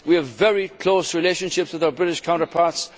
We have very close relationships with our British counterparts.